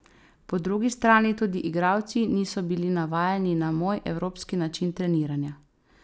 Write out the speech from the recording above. Po drugi strani tudi igralci niso bili navajeni na moj, evropski način treniranja.